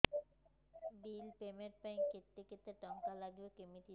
bill payment ପାଇଁ କେତେ କେତେ ଟଙ୍କା ଲାଗିବ କେମିତି ଜାଣିବି